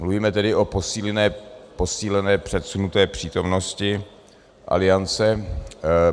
Mluvíme tedy o posílené předsunuté přítomnosti Aliance.